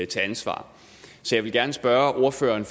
til ansvar så jeg vil gerne spørge ordføreren